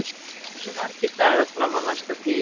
Röggi, hversu margir dagar fram að næsta fríi?